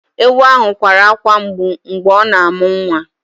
Èwu ahụ kwara akwa mgbụ mgbe ọ na-amụ nwa